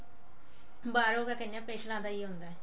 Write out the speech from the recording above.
ਬਾਹਰੋਂ ਪਿਛਲਾ ਹੀ ਹੁੰਦਾ